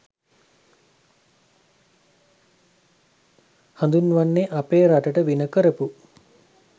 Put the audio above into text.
හඳුන්වන්නෙ අපේ රටට වින කරපු